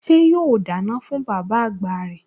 Ṣé yóò dáná fún bàbá àgbà rẹ̀?